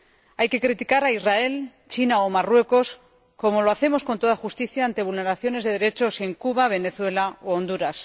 Hay que criticar a Israel, China o Marruecos como lo hacemos, con toda justicia, ante vulneraciones de derechos en Cuba, Venezuela u Honduras